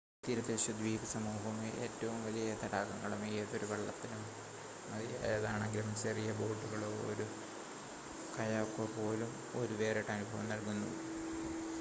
തീരദേശ ദ്വീപ സമൂഹവും ഏറ്റവും വലിയ തടാകങ്ങളും ഏതൊരു വള്ളത്തിനും മതിയായതാണെങ്കിലും ചെറിയ ബോട്ടുകളോ ഒരു കയാക്കോ പോലും ഒരു വേറിട്ട അനുഭവം നൽകുന്നു